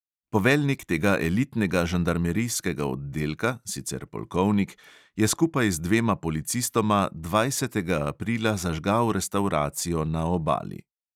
Poveljnik tega elitnega žandarmerijskega oddelka, sicer polkovnik, je skupaj z dvema policistoma dvajsetega aprila zažgal restavracijo na obali.